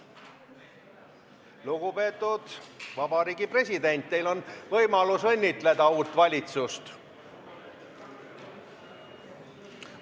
" Lugupeetud president, teil on võimalik uut valitsust õnnitleda.